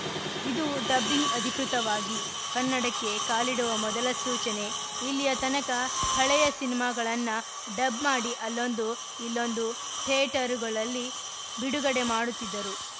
ಇದು ಡಬ್ಬಿಂಗ್‌ ಅಧಿಕೃತವಾಗಿ ಕನ್ನಡಕ್ಕೆ ಕಾಲಿಡುವ ಮೊದಲ ಸೂಚನೆ ಇಲ್ಲಿಯ ತನಕ ಹಳೆಯ ಸಿನಿಮಾಗಳನ್ನ ಡಬ್‌ ಮಾಡಿ ಅಲ್ಲೊಂದು ಇಲ್ಲೊಂದು ಥೇಟರುಗಳಲ್ಲಿ ಬಿಡುಗಡೆ ಮಾಡುತ್ತಿದ್ದರು